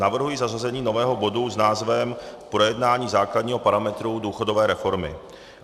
Navrhuji zařazení nového bodu s názvem Projednání základního parametru důchodové reformy.